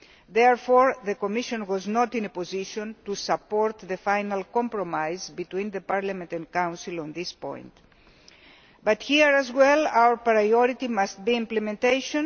Therefore, the Commission was not in a position to support the final compromise between Parliament and Council on this point. Here, as well, our priority must be implementation.